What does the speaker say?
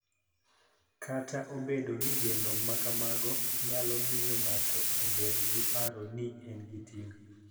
Kata obedo ni geno ma kamago nyalo miyo ng�ato obed gi paro ni en gi ting�,